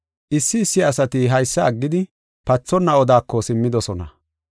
Issi issi asati haysa aggidi, pathonna odako simmidosona.